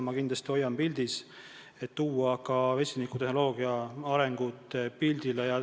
Ma kindlasti hoian ka vesiniktehnoloogia arengud pildil.